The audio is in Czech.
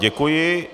Děkuji.